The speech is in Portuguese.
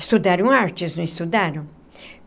Estudaram artes, não estudaram?